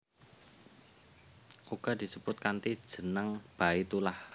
Uga disebut kanthi jeneng Baitullah